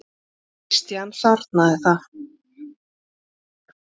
Christian sárnaði það.